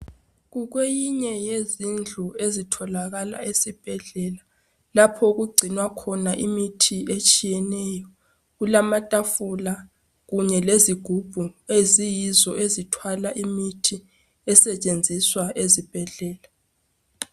Kukweyinye yezindlu ezitholakala esibhedlela lapho okugcinwa khona imithi etshiyeneyo. Kulamatafula lezigubhu eziyizo ezithwala imithi esetshenziswa ezibhedlela.